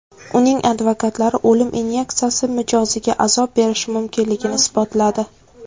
Uning advokatlari o‘lim inyeksiyasi mijoziga azob berishi mumkinligini isbotladi.